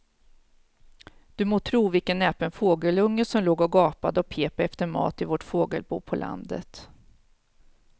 Du må tro vilken näpen fågelunge som låg och gapade och pep efter mat i vårt fågelbo på landet.